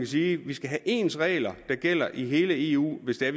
sige vi skal have ens regler der gælder i hele eu hvis det er